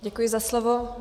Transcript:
Děkuji za slovo.